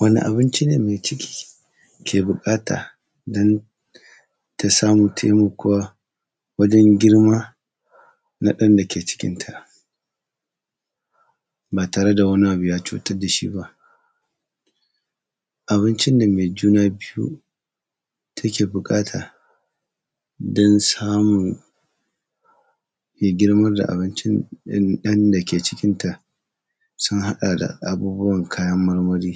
Wane abinci ne, mai ciki ke buƙata, don ta samun taimakuwa wajen girma na ɗan dake cikinta ba tare da wani abu ya cutar da shi ba? Abincin da mai juna biyu take buƙata, don samun ya girma da abincin in; ɗan dake cikinta, sun haɗa abubuwan kayan marmari.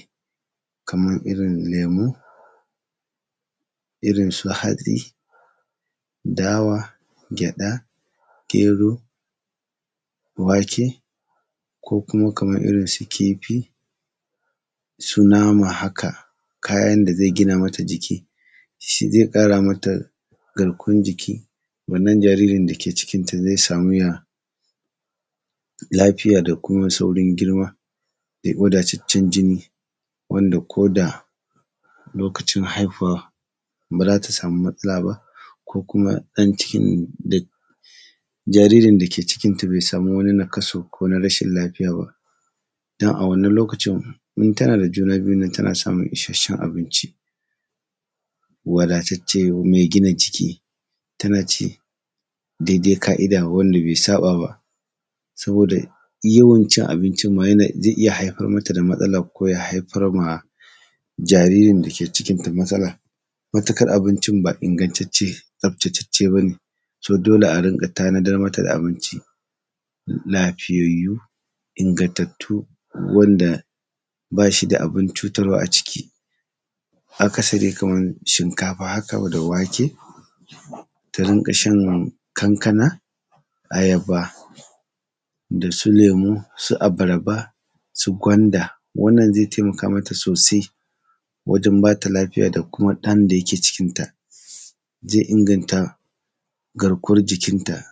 Kamar irin lemu, irin su hatsi, dawa, gyaɗa, gero, wake ko kuma kaman irin su kifi. Su nama haka, kayan da zai gina mata jiki, shi zai ƙara mata garkuwan jiki. Wannan jaririn da ke cikinta, zai samu ya, lafiya da kuma saurin girma da wadataccen jini, wanda ko da lokacin haifuwa ba za ta samu matsala ba, ko kuma ɗan cikin da, jaririn da ke cikinta bai samu wani nakasu ko na rashil lafiya ba. Don a wannan lokacin, in tana da juna biyun nan, tana samun isasshen abinci, wadatacce mai gina jiki, tana ci dedai ka’ida wanda bai saƃa ba. Saboda, yawan cin abincin ma yana; zai iya haifar mata da matsala ko ya haifar ma jaririn da ke cikinta matsala, matukar abincin ba ingantacce, tsaftatacce ba ne. To, dole in rinƙa tanadar mata da abinci m; lafiyayyu, ingantattu, wanda ba shi da abin cutarwa a ciki. Akasari kamar shinkafa haka wa; da wake, ta rinƙa shan kankana ayaba da su lemu, su abarba, su gwanda. Wannan, zai taimaka mata sosai, wajen bata lafiya da kuma ɗan da yake cikinta. Zai inganta, garkuwan jikinta,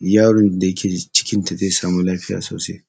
yaron da ke cikinta, zai samu lafiya sosai.